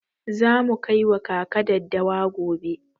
Za mu kai wa kaka daddawa gobe.